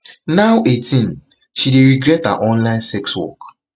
now eighteen she dey regret her online sex work